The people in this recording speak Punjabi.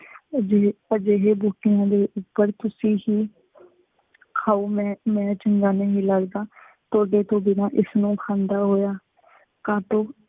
ਅਜਿਹੇ ਅਜਿਹੇ ਬੂਟਿਆਂ ਦੇ ਉੱਪਰ ਤੁਸੀਂ ਹੀ ਖਾਉ, ਮੈਂ ਮੈਂ ਚੰਗਾ ਨਹੀਂ ਲੱਗਦਾ, ਤੁਹਾਡੇ ਤੋਂ ਬਿਨਾ ਇਸਨੂੰ ਖਾਂਦਾ ਹੋਇਆ। ਕਾ ਤੋਂ